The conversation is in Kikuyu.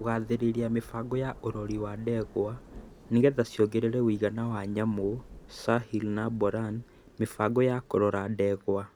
Kũgathĩrĩria mĩbango ya urori wa ndegwa nĩgetha ciongerere ũigana wa nyamũ (sahiwal na boran) mĩbango ya kũrora ndegwa